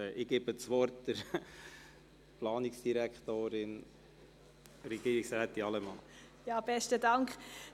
Ich gebe der Planungsdirektorin, Regierungsrätin Allemann, das Wort.